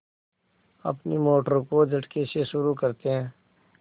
अपनी मोटर को झटके से शुरू करते हैं